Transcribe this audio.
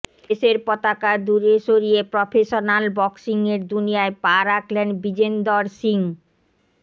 দেশের পতাকা দূরে সরিয়ে প্রফেশনল বক্সিংয়ের দুনিয়ায় পা রাখলেন বিজেন্দর সিং